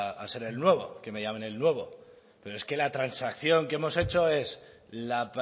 a ser el nuevo que me llamen el nuevo pero es que la transacción que hemos hecho es la